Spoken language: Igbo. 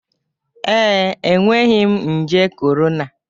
Ee, enweghị m nje corona.